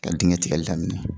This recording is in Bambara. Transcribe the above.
Ka digɛn tigɛli daminɛ